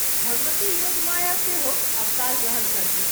भगवती योगमाया सेहो अवतार ग्रहण करतीह।